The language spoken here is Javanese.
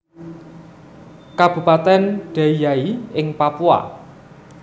Kabupatèn Deiyai ing Papua